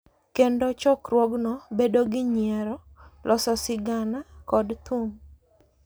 Kendo chokruogno bedo gi nyiero, loso sigana, kod thum.